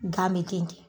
Gan bɛ ten